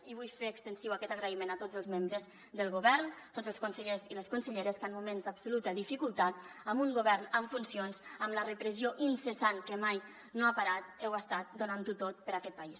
i vull fer extensiu aquest agraïment a tots els membres del govern tots els consellers i les conselleres que en moments d’absoluta dificultat amb un govern en funcions amb la repressió incessant que mai no ha parat heu estat donant ho tot per a aquest país